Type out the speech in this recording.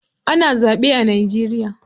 Ana zaɓe a Najeriya.